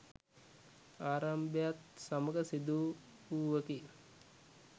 ආරම්භයත් සමඟ සිදු වූවකි.